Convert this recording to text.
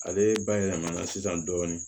Ale bayɛlɛmana sisan dɔɔnin